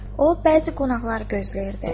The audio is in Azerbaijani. O bəzi qonaqları gözləyirdi.